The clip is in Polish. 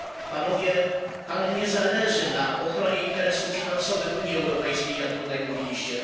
Panom nie zależy na ochronie interesów finansowych Unii Europejskiej, jak tutaj mówiliście.